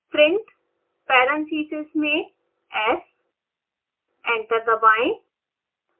print parentheses में s enter दबाएं